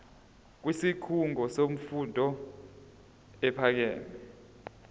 kwisikhungo semfundo ephakeme